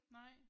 Nej